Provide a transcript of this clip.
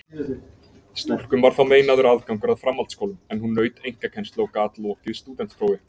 Stúlkum var þá meinaður aðgangur að framhaldsskólum, en hún naut einkakennslu og gat lokið stúdentsprófi.